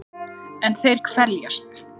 En þeir kveljast.